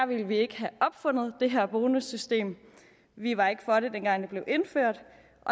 ville vi ikke have opfundet det her bonussystem vi var ikke for det dengang det blev indført